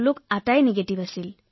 সকলোৰে নিগেটিভ আছিল